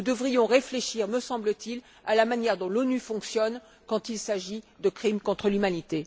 Nous devrions réfléchir, me semble t il, à la manière dont l'ONU fonctionne quant il s'agit de crimes contre l'humanité.